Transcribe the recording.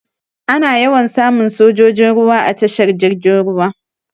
Ana yawan samun sojojin ruwa a tashar jirgin ruwa.